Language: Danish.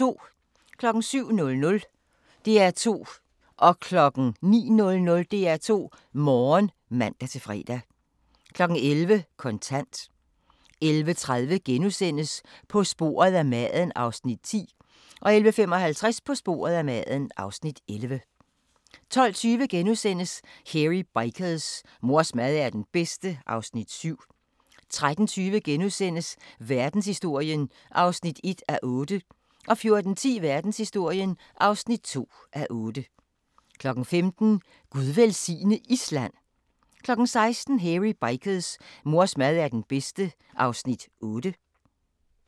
07:00: DR2 Morgen (man-fre) 09:00: DR2 Morgen (man-fre) 11:00: Kontant 11:30: På sporet af maden (Afs. 10)* 11:55: På sporet af maden (Afs. 11) 12:20: Hairy Bikers: Mors mad er den bedste (Afs. 7)* 13:20: Verdenshistorien (1:8)* 14:10: Verdenshistorien (2:8) 15:00: Gud velsigne Island! 16:00: Hairy Bikers: Mors mad er den bedste (Afs. 8)